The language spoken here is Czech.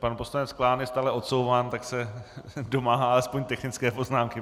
Pan poslanec Klán je stále odsouván, tak se domáhá aspoň technické poznámky.